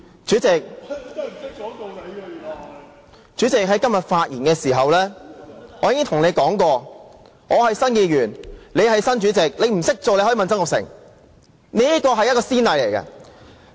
主席，我在今天發言時已經說過，我是新任議員，你是新任主席，你不懂如何當主席可以向曾鈺成請教。